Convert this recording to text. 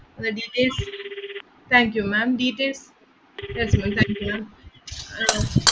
Registration. Thank you ma'am. details